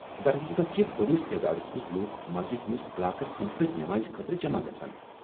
درحقیقت چھِ بٔڈِس تعدادس منٛز لوٗکھ مسجد ہٕنٛدس علاقس أنٛدۍ پٔکۍ نمازِ خٲطرٕ جمع گژھان۔